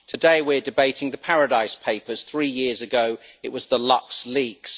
Today we are debating the Paradise Papers, three years ago it was the LuxLeaks.